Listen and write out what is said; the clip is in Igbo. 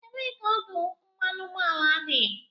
Ebee ka ọdụ mmanụ ụgbọala dị?